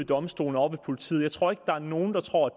domstolene og politiet jeg tror ikke der er nogen der tror